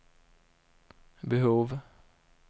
behov